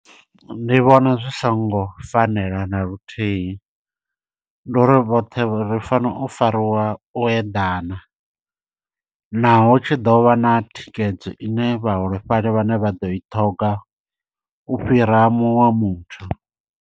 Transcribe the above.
Ndi vhona zwi songo fanela na luthihi, ndi uri vhoṱhe ri fanela u fariwa u eḓana. Naho hu tshi ḓovha na thikhedzo ine vhaholefhali vhane vha ḓo i ṱhoga, u fhira muṅwe wa muthu.